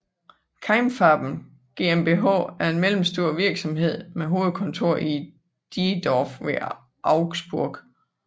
Keimfarben GmbH er en mellemstor virksomhed med hovedkontor i Diedorf ved Augsburg